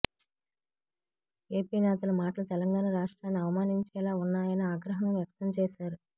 AP నేతల మాటలు తెలంగాణ రాష్ట్రాన్ని అవమానించేలా ఉన్నాయని ఆగ్రహం వ్యక్తం చేశారు